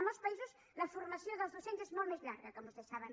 a molts països la formació dels docents és molt més llarga com vostès saben